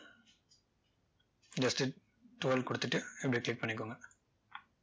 just to twirl கொடுத்துட்டு இப்படி click பன்ணிக்கோங்க